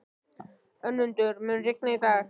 Önundur, mun rigna í dag?